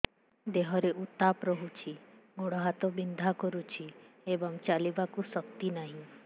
ଦେହରେ ଉତାପ ରହୁଛି ଗୋଡ଼ ହାତ ବିନ୍ଧା କରୁଛି ଏବଂ ଚାଲିବାକୁ ଶକ୍ତି ନାହିଁ